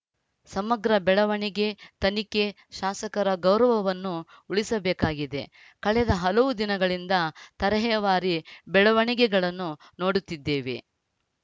ಸಮಗ್ರ ಬೆಳವಣಿಗೆ ತನಿಖೆ ಶಾಸಕರ ಗೌರವವನ್ನು ಉಳಿಸಬೇಕಾಗಿದೆ ಕಳೆದ ಹಲವು ದಿನಗಳಿಂದ ತರೇಹವಾರಿ ಬೆಳವಣಿಗೆಗಳನ್ನು ನೋಡುತ್ತಿದ್ದೇವೆ